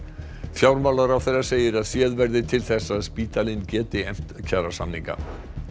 fjármálaráðherra segir að séð verði til þess að spítalinn geti efnt kjarasamninga